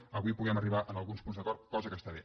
avui puguem arribar a alguns punts d’acord cosa que està bé